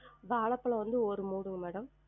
வாழப்பழம் வந்து ஒரு madam